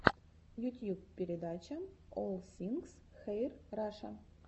ютьюб передача олл сингс хэир раша